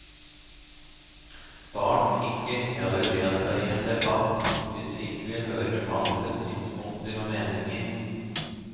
Start ikke eller delta i en debatt, hvis du ikke vil høre på andres synspunkter og meninger.